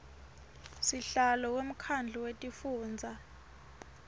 sihlalo wemkhandlu wetifundza